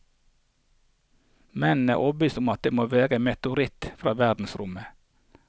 Mennene er overbevist om at dette må være en meteoritt fra verdensrommet.